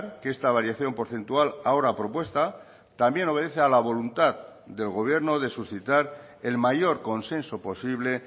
que esta variación porcentual ahora propuesta también obedece a la voluntad del gobierno de suscitar el mayor consenso posible